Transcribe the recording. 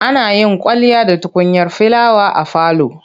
Ana yin kwalliya da tukunyar filawa a falo.